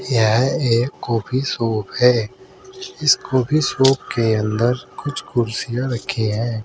यह एक coffee shop है इस कॉफी शॉप के अंदर कुछ कुर्सियां रखी है।